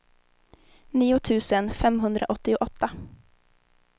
nio tusen femhundraåttioåtta